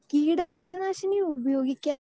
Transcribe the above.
speaker 2 കീടനാശിനി ഉപയോഗിക്കാൻ